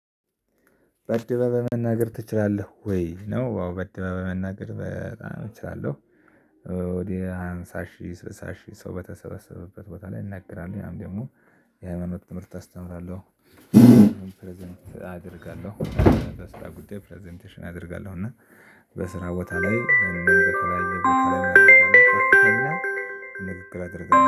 በአደባባይ መናገር ትችላለህ ወይ? ነው አዎ በአደባባይ መናገር በጣም እችላለሁ። ወደ ሃምሳ ሺህ ስልሳ ሺህ ሰው በተሰበሰበበት ቦታ ላይ እናገራለሁ ያም ደግሞ የሃይማኖት ትምህርት አስተምራለሁ። ፕረዘንት አደርጋለሁ በስራ ጉዳይ ፕረዘንቴሽን አደርጋለሁ። እና በስራ ቦታ ላይ እንደውም በተለይ በተለይ አደርጋለሁ። ተብላ ንግግር አደርጋለሁ።